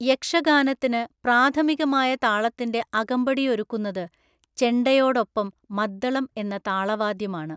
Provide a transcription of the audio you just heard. യക്ഷഗാനത്തിന് പ്രാഥമികമായ താളത്തിൻ്റെ അകമ്പടിയൊരുക്കുന്നത്, ചെണ്ടയോടൊപ്പം മദ്ദളം എന്ന താളവാദ്യമാണ്.